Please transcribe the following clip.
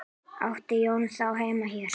Átti Jói þá heima hér?